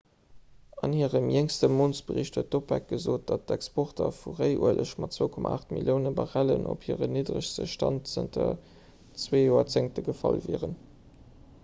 an hirem jéngste mountsbericht huet d'opec gesot datt d'exporter vu réiueleg mat 2,8 millioune barrellen op hiren nidderegste stand zanter zwee joerzéngte gefall wieren